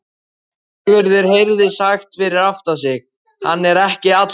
Sigurður heyrði sagt fyrir aftan sig: Hann er ekki allra.